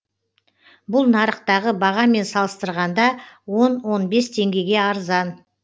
бұл нарықтағы бағамен салыстырғанда он он бес теңгеге арзан